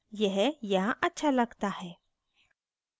यह यहाँ अच्छा लगता है